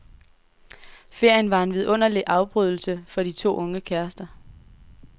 Ferien var en vidunderligt afbrydelse for de to unge kærester.